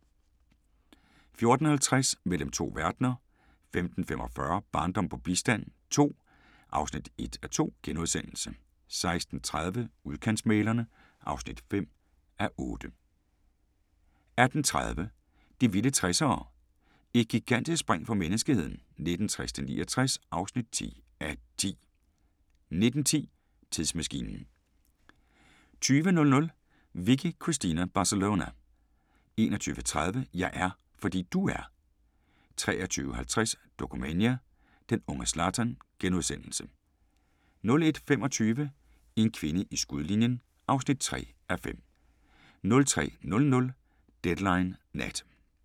14:50: Mellem to verdener 15:45: Barndom på bistand II (1:2)* 16:30: Udkantsmæglerne (5:8) 18:30: De vilde 60'ere: Et gigantisk spring for menneskeheden 1960-69 (10:10) 19:10: Tidsmaskinen 20:00: Vicky Cristina Barcelona 21:30: Jeg er, fordi du er 23:50: Dokumania: Den unge Zlatan * 01:25: En kvinde i skudlinjen (3:5) 03:00: Deadline Nat